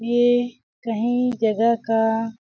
यह कहीं जगह का --